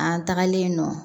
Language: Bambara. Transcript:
An tagalen yen nɔ